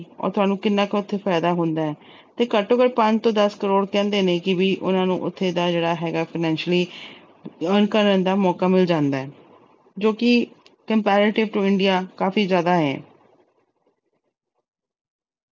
ਉਹ ਤੁਹਾਨੂੰ ਕਿੰਨਾ ਕੁ ਉਥੇ ਫਾਇਦਾ ਹੁੰਦਾ ਤੇ ਘੱਟੋ-ਘੱਟ ਪੰਜ ਤੋਂ ਦਸ ਕਰੋੜ ਕਹਿੰਦੇ ਨੇ ਕਿ ਵੀ ਉਹਨਾਂ ਨੂੰ ਉਥੇ ਦਾ ਜਿਹੜਾ ਹੈਗਾ financially earn ਕਰਨ ਦਾ ਮੌਕਾ ਮਿਲ ਜਾਂਦਾ ਜੋ ਕਿ comparative to India ਕਾਫੀ ਜਿਆਦਾ ਏ।